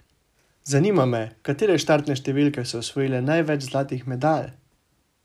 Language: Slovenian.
Zanima me, katere štartne številke so osvojile največ zlatih medalj?